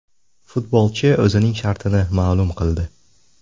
Futbolchi o‘zining shartini ma’lum qildi.